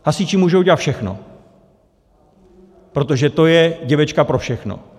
Hasiči můžou dělat všechno, protože to je děvečka pro všechno.